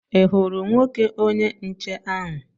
Ị hụrụ nwoke onye nche ahụ?